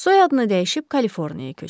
Soyadını dəyişib Kaliforniyaya köçdü.